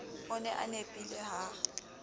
o ne a nepile ha